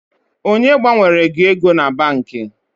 Onye gbanwere gị ego na banki?